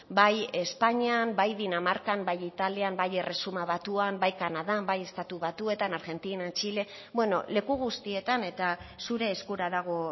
bai espainian bai danimarkan bai italian bai erresuma batuan bai kanadan bai estatu batuetan argentinan txile bueno leku guztietan eta zure eskura dago